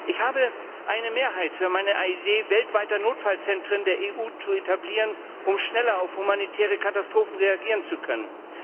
Ich habe eine Mehrheit für meine Idee, weltweite Notfallzentren der EU zu etablieren, um schneller auf humanitäre Katastrophen reagieren zu können.